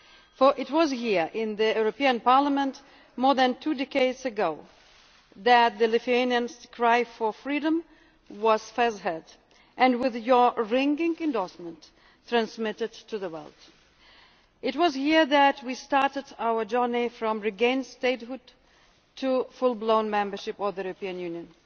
For it was here in the European Parliament, more than two decades ago, that Lithuania's cry for freedom was first heard and with your ringing endorsement transmitted to the world. It was here that we started our journey from regained statehood to full blown membership of the European Union,